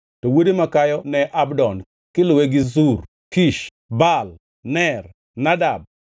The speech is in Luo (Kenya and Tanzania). to wuode makayo ne en Abdon, kiluwe gi Zur, Kish, Baal, Ner, Nadab,